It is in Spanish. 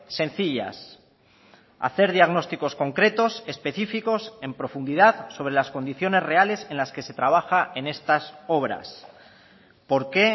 sencillas hacer diagnósticos concretos específicos en profundidad sobre las condiciones reales en las que se trabaja en estas obras por qué